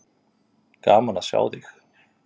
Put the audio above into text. Gaman að sjá þig.